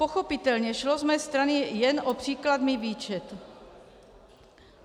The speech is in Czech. Pochopitelně šlo z mé strany jen o příkladný výčet.